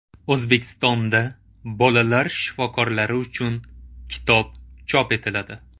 O‘zbekistonda bolalar shifokorlari uchun kitob chop etiladi.